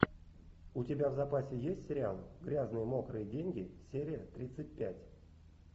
у тебя в запасе есть сериал грязные мокрые деньги серия тридцать пять